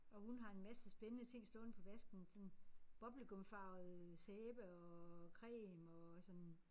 Og hun har en masse spændende ting stående på vasken sådan bubble gum farvet sæbe og creme og sådan